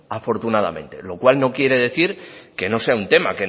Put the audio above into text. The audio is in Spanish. afortunadamente lo cual no quiere decir que no sea un tema